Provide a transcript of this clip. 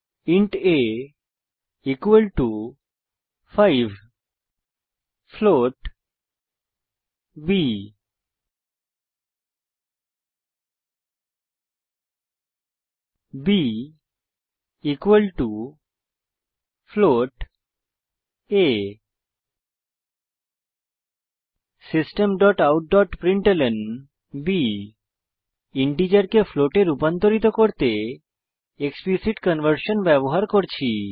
int a 5 float B b a systemoutপ্রিন্টলন ইন্টিজারকে ফ্লোটে রূপান্তরিত করতে এক্সপ্লিসিট কনভার্সন ব্যবহার করছি